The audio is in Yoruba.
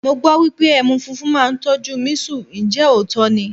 Mo gbọ́ wípé ẹmu funfun máa ń tọ́jú mísù, ǹjẹ́ òótọ́ ni?